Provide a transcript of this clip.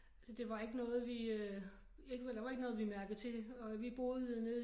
Altså det var ikke noget vi øh det var der var ikke noget vi mærkede til og vi boede nede